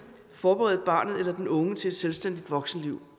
forberede barnet eller den unge til et selvstændigt voksenliv